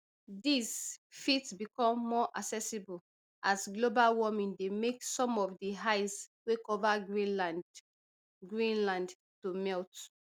these fit become more accessible as global warming dey make some of di ice wey cover greenland greenland to melt